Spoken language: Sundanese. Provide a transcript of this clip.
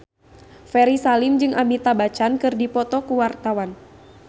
Ferry Salim jeung Amitabh Bachchan keur dipoto ku wartawan